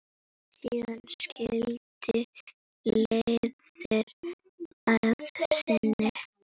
Síðan skildi leiðir að sinni.